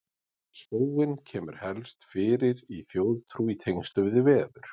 Spóinn kemur helst fyrir í þjóðtrú í tengslum við veður.